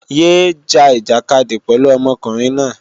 Yé é ja ìjàkadì pẹ̀lú ọmọkùnrin náà!